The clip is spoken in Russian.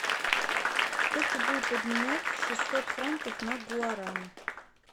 сколько будет обменять шестьсот франков на гуарани